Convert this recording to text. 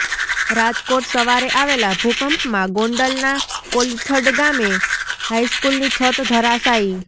રાજકોટઃ સવારે આવેલા ભૂકંપમાં ગોંડલના કોલીથડ ગામે હાઈસ્કૂલની છત ધરાશાયી